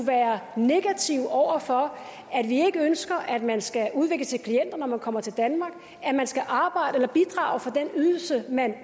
være negative over for at vi ikke ønsker at man skal udvikle sig til klient når man kommer til danmark men at man skal arbejde eller bidrage for den ydelse man